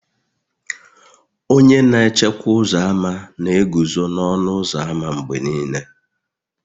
Onye na echekwa ụzọ ámá na-eguzo n'ọnụ ụzọ ámá mgbe niile